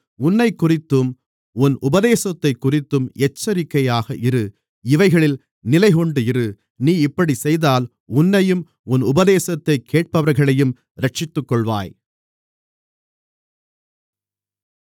உன்னைக்குறித்தும் உன் உபதேசத்தைக்குறித்தும் எச்சரிக்கையாக இரு இவைகளில் நிலைகொண்டிரு நீ இப்படிச் செய்தால் உன்னையும் உன் உபதேசத்தைக் கேட்பவர்களையும் இரட்சித்துக்கொள்ளுவாய்